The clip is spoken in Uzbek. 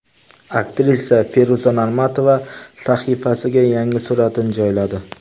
Aktrisa Feruza Normatova sahifasiga yangi suratini joyladi.